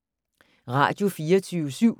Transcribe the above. Radio24syv